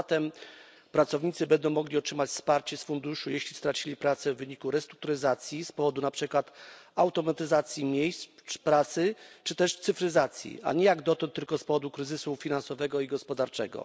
Zatem pracownicy będą mogli otrzymać wsparcie z funduszu, jeśli stracili pracę w wyniku restrukturyzacji z powodu, na przykład, automatyzacji miejsc pracy czy też cyfryzacji, a nie jak dotąd tylko z powodu kryzysu finansowego i gospodarczego.